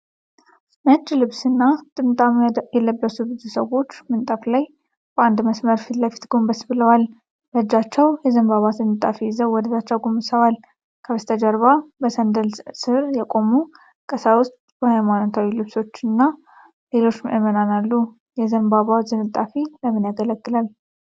ነጭ ልብስና ጥምጣም የለበሱ ብዙ ሰዎች ምንጣፍ ላይ በአንድ መስመር ፊት ለፊት ጎንበስ ብለዋል። በእጃቸው የዘንባባ ዝንጣፊ ይዘው ወደታች አጎንብሰዋል። ከበስተጀርባ በሰንደል ስር የቆሙ ቀሳውስት በሃይማኖታዊ ልብሶችና ሌሎች ምዕመናን አሉ። የዘንባባ ዝንጣፊ ለምን ያገለግላል?